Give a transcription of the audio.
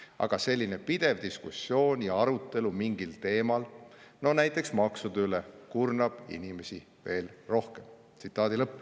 Aga selline pidev diskussioon ja arutelu mingil teemal, no näiteks maksude üle, kurnab inimesi veel rohkem.